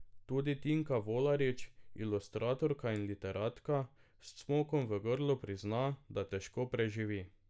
Tudi Tinka Volarič, ilustratorka in literatka, s cmokom v grlu prizna, da težko preživi.